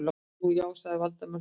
Nú, já- sagði Valdimar hlutlaust.